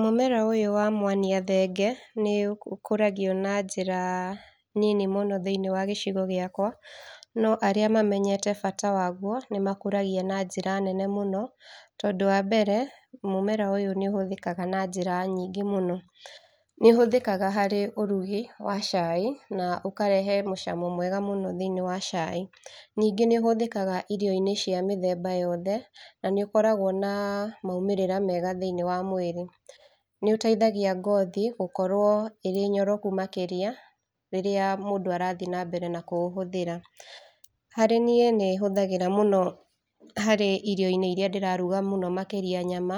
Mũmera ũyũ wa mwania thenge, nĩũkũragio na njĩra nini mũno thiniĩ wa gĩcigo gĩakwa, no arĩa mamenyete bata waguo, nĩmakũragia na njĩra nene mũno. Tondũ wa mbere, mũmera ũyũ nĩũhũthĩkaga na njĩra nyingĩ mũno. Nĩũhũthĩkaga harĩ ũrugi wa caai, na ũkarehe mũcamo mwega mũno thĩiniĩ wa caai. Ningĩ nĩũhũthĩkaga irio-inĩ cia mĩthemba yothe na nĩ ũkoragwo na maumĩrĩra mega thĩiniĩ wa mwĩrĩ. Nĩũteithagia ngothi, gũkorwo ĩrĩ nyoroku makĩria, rĩrĩa mũndũ arathiĩ na mbere na kũũhũthĩra. Harĩ niĩ nĩhũthagĩra mũno harĩ irio-inĩ iria ndĩraruga mũno makĩria nyama